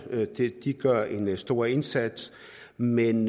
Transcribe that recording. de gør en stor indsats men